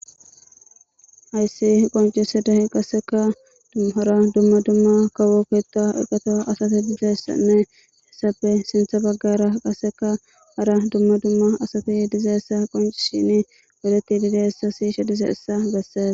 Hassi qonccisiday qasekka hara dumma dumma kawo keeta eqata hesafe sinththa bagara hara dumma dumma asati dizayissa qonccisidi siyid dizayissa besses